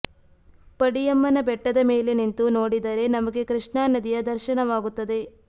ಪಡಿಯಮ್ಮನ ಬೆಟ್ಟದ ಮೇಲೆ ನಿಂತು ನೋಡಿದರೆ ನಮಗೆ ಕೃಷ್ಣಾ ನದಿಯ ದರ್ಶನವಾಗುತ್ತದೆ